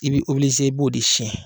I b bɛ i b'o de siɲɛn.